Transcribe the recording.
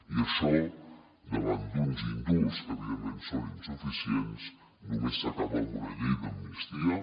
i això davant d’uns indults que evidentment són insuficients només s’acaba amb una llei d’amnistia